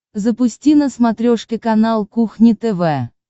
запусти на смотрешке канал кухня тв